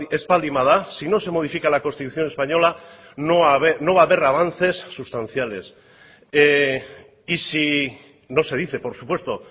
ez baldin bada si no se modifica la constitución española no va a haber avances sustanciales y si no se dice por supuesto